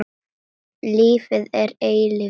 Lífið er eilífur lestur.